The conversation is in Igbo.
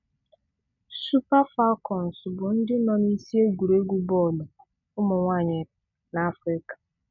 Super Falcons bụ̀ ndị́ nọ n'isi égwùrégwu bọ́ọ̀lụ̀ ụ́mụ̀nwáànyị̀ n'Áfịrị́kà